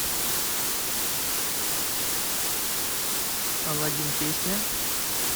алладин песня